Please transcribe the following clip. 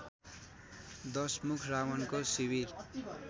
दशमुख रावणको शिविर